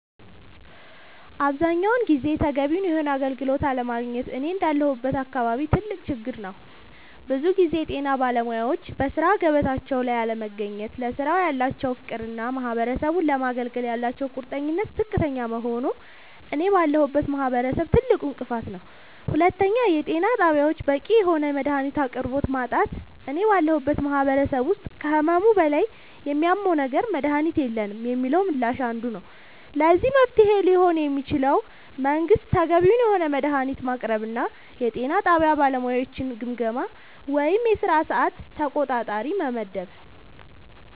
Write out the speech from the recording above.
አብዛኛውን ጊዜ ተገቢውን የሆነ አገልግሎት አለማግኘት እኔ እንዳለሁበት አካባቢ ትልቅ ችግር ነዉ ብዙ ጊዜ የጤና ባለሙያወች በሥራ ገበታቸው ላይ አለመገኘት ለስራው ያላቸው ፍቅርና ማህበረሰቡን ለማገልገል ያላቸው ቁርጠኝነት ዝቅተኛ መሆኑ እኔ ባለሁበት ማህበረሰብ ትልቁ እንቅፋት ነዉ ሁለተኛው የጤና ጣቢያወች በቂ የሆነ የመድሃኒት አቅርቦት ማጣት እኔ ባለሁበት ማህበረሰብ ውስጥ ከህመሙ በላይ የሚያመው ነገር መድሃኒት የለንም የሚለው ምላሽ አንዱ ነዉ ለዚህ መፍትሄ ሊሆን የሚችለው መንግስት ተገቢውን የሆነ መድሃኒት ማቅረብና የጤና ጣቢያ ባለሙያወችን ግምገማ ወይም የስራ ሰዓት ተቆጣጣሪ መመደብ